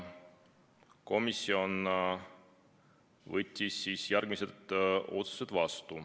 Komisjon võttis vastu järgmised otsused.